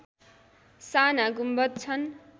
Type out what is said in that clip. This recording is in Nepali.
साना गुम्बद छन्